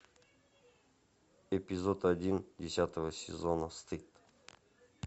эпизод один десятого сезона стыд